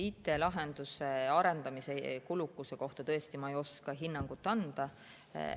IT‑lahenduse arendamise kulukuse kohta ma ei oska tõesti hinnangut anda.